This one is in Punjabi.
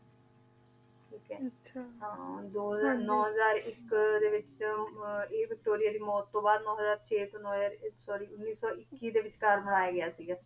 ਠੀਕ ਆਯ ਹਾਂ ਦੋ ਹਜ਼ਾਰ ਨੋ ਹਜ਼ਾਰ ਏਇਕ ਤਨ ਦੇ ਵਿਚ ਵਿਕਾਰੀਆ ਦੀ ਮੋਤ ਤੋਂ ਬਾਅਦ ਨੋ ਹਜ਼ਾਰ ਚੇ ਤੋ ਨੋ ਹਜ਼ਾਰ ਏਇਕ sorry ਉਨੀ ਸੋ ਏਕੀ ਦੇ ਵਿਚਕਾਰ ਬਨਾਯਾ ਗਯਾ ਸੀਗਾ ਠੀਕ ਆਯ ਹਾਂਜੀ